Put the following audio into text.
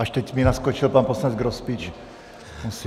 Až teď mi naskočil pan poslanec Grospič.